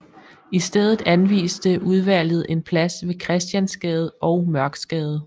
I stedet anviste udvalget en plads ved Christiansgade og Mørksgade